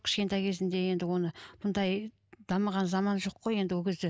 кішкентай кезінде енді оны мұндай дамыған заман жоқ қой енді ол кезде